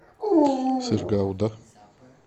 сыр гауда